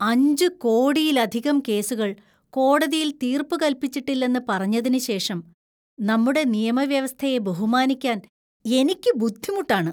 അഞ്ച് കോടിയിലധികം കേസുകൾ കോടതിയിൽ തീർപ്പുകൽപ്പിച്ചിട്ടില്ലെന്ന് പറഞ്ഞതിന് ശേഷം നമ്മുടെ നിയമവ്യവസ്ഥയെ ബഹുമാനിക്കാന്‍ എനിക്ക് ബുദ്ധിമുട്ടാണ്.